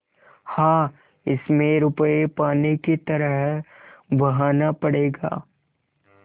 हाँ इसमें रुपये पानी की तरह बहाना पड़ेगा